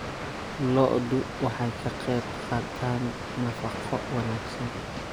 Lo'du waxay ka qaybqaataan nafaqo wanaagsan.